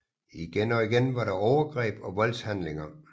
Igen og igen var der overgreb og voldshandlinger